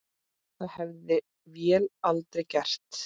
Það hefði vél aldrei gert.